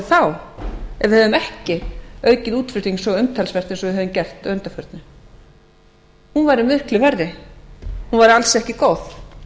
ef við hefðum ekki aukið útflutning svo umtalsvert eins og við höfum gert að undanförnu hún væri miklu verri hún væri alls ekki góð